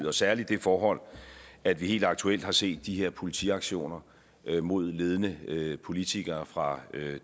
er særlig det forhold at vi helt aktuelt har set de her politiaktioner mod ledende ledende politikere fra